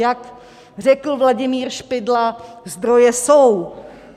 Jak řekl Vladimír Špidla, zdroje jsou.